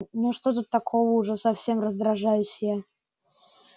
ну и что такого-то уже совсем раздражаюсь я